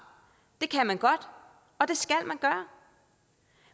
det kan man godt og det skal